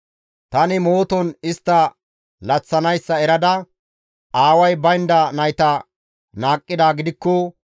Tani mooton istta laththanayssa erada aaway baynda nayta naaqqidaa gidikko,